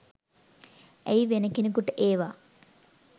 ඇයි වෙන කෙනකුට ඒවා